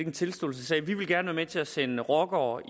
en tilståelsessag vi vil gerne være med til at sende rockere